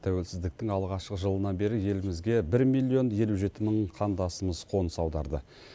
тәуелсіздіктің алғашқы жылынан бері елімізге бір миллион елу жеті мың қандасымыз қоныс аударды